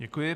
Děkuji.